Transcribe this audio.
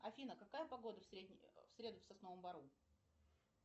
афина какая погода в среду в сосновом бору